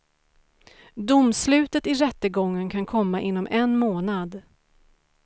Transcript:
Domslutet i rättegången kan komma inom en månad.